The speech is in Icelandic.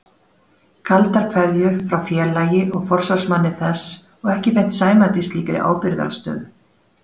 Kaldar kveðjur frá félagi og forsvarsmanni þess og ekki beint sæmandi slíkri ábyrgðarstöðu.